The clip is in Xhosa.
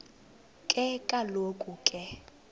ke kaloku ke